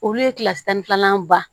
Olu ye kilasi tan ni filanan ba